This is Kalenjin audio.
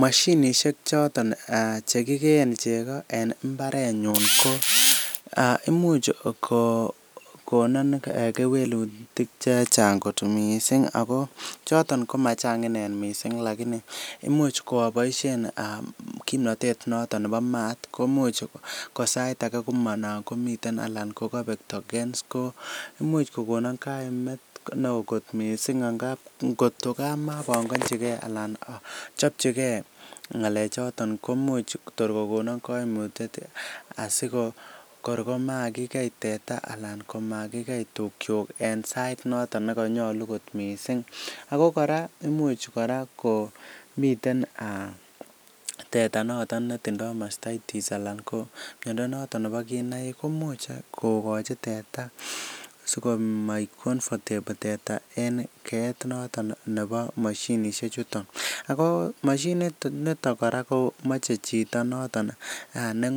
Mashinisiek choton Che kigeen chego en mbarenyun ko Imuch ko konon kewelutik Che Chang kot mising ako choton ko machang mising kobaten aboisien kimnatet noton nebo maat ko Imuch anan sait age komami anan ko kobek tokens Imuch ko kokon kaimet neo kot mising amun angot ko ka mobokonji ge anan a chopchigei ngalechoto ko Imuch tor ko konon kaimututiet asi kor komakigei teta anan komakigei tukyuk en sait noton ne nyolu kot mising ako kora komiten teta noton netindoi miando nebo mastitis anan nebo kinaigik komuch koyai teta komoik comfortable teta en keet noton nebo mashinisiek chuton ago mashinisit niton kora komoche chito ne